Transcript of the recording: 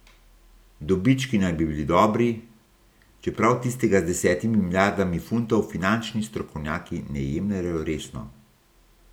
Dobički naj bi bili dobri, čeprav tistega z desetimi milijardami funtov finančni strokovnjaki ne jemljejo resno.